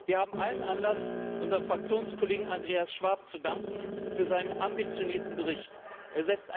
Wir haben allen Anlass, unserem Fraktionskollegen Andreas Schwab für seinen ambitionierten Bericht zu danken.